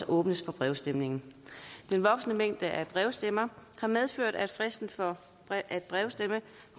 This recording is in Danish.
åbnes for brevafstemningen den voksende mængde af brevstemmer har medført at fristen for at brevstemme